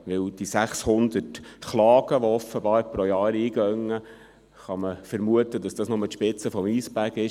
Denn bei den 600 Klagen, die offenbar pro Jahr eingehen, kann man vermuten, dass es sich nur um die Spitze des Eisbergs handelt.